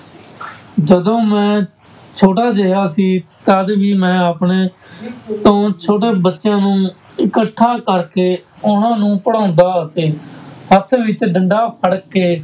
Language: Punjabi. ਜਦੋਂ ਮੈਂ ਛੋਟਾ ਜਿਹਾ ਸੀ ਤਦ ਵੀ ਮੈਂ ਆਪਣੇ ਤੋਂ ਛੋਟੇ ਬੱਚਿਆਂ ਨੂੰ ਇਕੱਠਾ ਕਰਕੇ ਉਹਨਾਂ ਨੂੰ ਪੜ੍ਹਾਉਂਦਾ ਅਤੇ ਹੱਥ ਵਿੱਚ ਡੰਡਾ ਫੜਕੇ